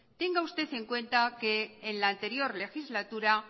tenga usted en cuenta que en la anterior legislatura